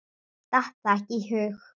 Datt það ekki í hug.